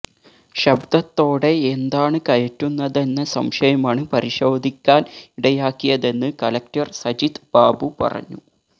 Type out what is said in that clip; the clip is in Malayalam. ശബ്ദത്തോടെ എന്താണ് കയറ്റുന്നതെന്ന സംശയമാണ് പരിശോധിക്കാന് ഇടയാക്കിയതെന്ന് കലക്ടര് സജിത്ത് ബാബു പറഞ്ഞു